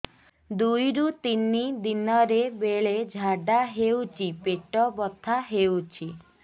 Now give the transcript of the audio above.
ଦୁଇରୁ ତିନି ଦିନରେ ବେଳେ ଝାଡ଼ା ହେଉଛି ପେଟ ବଥା ହେଉଛି